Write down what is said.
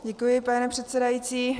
Děkuji, pane předsedající.